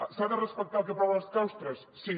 s’ha de respectar el que aproven els claustres sí